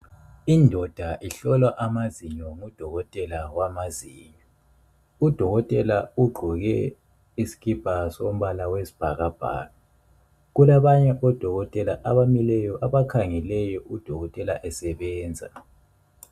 Indoda ihlolwa amazinyo ngu dokotela wamazinyo. Udokotela ugqoke isikipa sombala wesibhakabhaka. Kulabanye odokotela abamileyo abakhangeleyo udokotela esebenza.